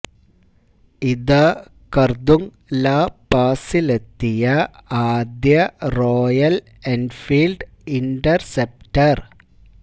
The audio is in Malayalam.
ഇതാ കര്ദുങ് ലാ പാസിലെത്തിയ ആദ്യ റോയല് എന്ഫീല്ഡ് ഇന്റര്സെപ്റ്റര്